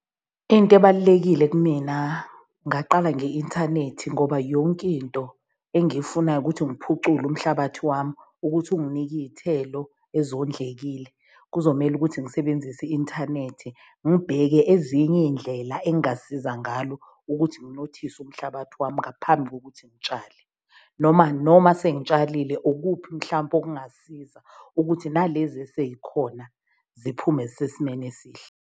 Into ebalulekile kumina ngaqala nge-inthanethi ngoba yonkinto engiyifunayo ukuthi ngiphucule umhlabathi wami ukuthi unginike iy'thelo ezondlekile. Kuzomele ukuthi ngisebenzise i-inthanethi ngibheke ezinye iy'ndlela engasiza ngalo ukuthi nginothise umhlabathi wami ngaphambi kokuthi ngitshale. Noma noma sengizitshalile ukuphi mhlampe okungasiza ukuthi nalezi eseyikhona ziphume zisesimeni esihle.